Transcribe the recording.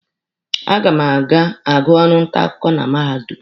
A ga m agụ ọrụ nta akwụkwọ na mahadum.